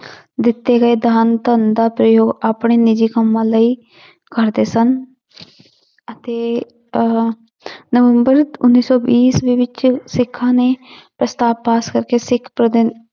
ਦਿੱਤੇ ਗਏ ਦਾਨ ਧਨ ਦਾ ਪ੍ਰਯੋਗ ਆਪਣੇ ਨਿੱਜੀ ਕੰਮਾਂ ਲਈ ਕਰਦੇ ਸਨ ਅਤੇ ਅਹ ਨਵੰਬਰ ਉੱਨੀ ਸੌ ਵੀਹ ਈਸਵੀ ਵਿੱਚ ਸਿੱਖਾਂ ਨੇ ਪ੍ਰਸਤਾਵ ਪਾਸ ਕਰਕੇ ਸਿੱਖ